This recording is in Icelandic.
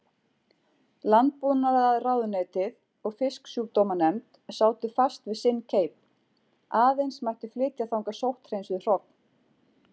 Landbúnaðarráðuneytið og Fisksjúkdómanefnd sátu fast við sinn keip: Aðeins mætti flytja þangað sótthreinsuð hrogn.